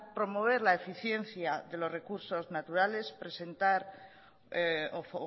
promover la eficiencia de los recursos naturales presentar o